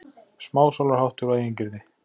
Smásálarháttur og eigingirni!